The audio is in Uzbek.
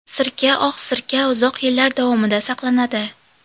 Sirka Oq sirka uzoq yillar davomida saqlanadi.